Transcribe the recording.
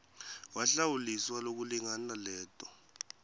wahlawuliswa lokulingana leto